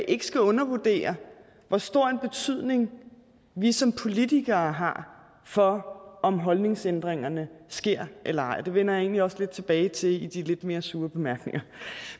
ikke skal undervurdere hvor stor en betydning vi som politikere har for om holdningsændringerne sker eller ej og det vender jeg egentlig også lidt tilbage til i de lidt mere sure bemærkninger